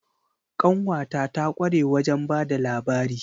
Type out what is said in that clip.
Ƙanwata ta kware wajen ba da labari.